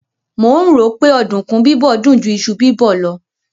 Mò ń rò ó pé ọ̀dùnkún bíbọ̀ dùn ju iṣu bíbọ̀ lọ